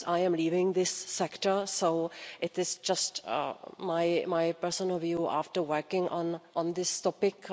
Of course, I am leaving this sector, so it is just my personal view after working on this topic.